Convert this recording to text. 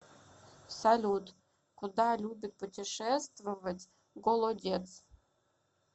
салют куда любит путешествовать голодец